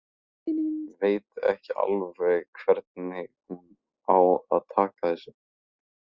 Veit ekki alveg hvernig hún á að taka þessu.